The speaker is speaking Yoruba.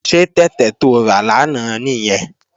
Ṣé tẹ̀tẹ̀ to rà lánàá nìyẹn?